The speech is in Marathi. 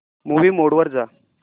मूवी मोड वर जा